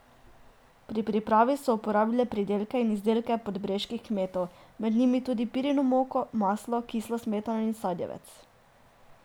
Pri pripravi so uporabile pridelke in izdelke podbreških kmetov, med njimi tudi pirino moko, maslo, kislo smetano in sadjevec.